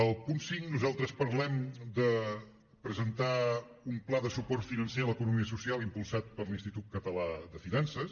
al punt cinc nosaltres parlem de presentar un pla de suport financer a l’economia social impulsat per l’institut català de finances